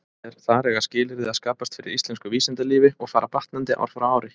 Þar eiga skilyrði að skapast fyrir íslensku vísindalífi, og fara batnandi ár frá ári.